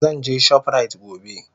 Zan je shoprite gobe.